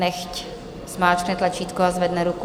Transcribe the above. Nechť zmáčkne tlačítko a zvedne ruku.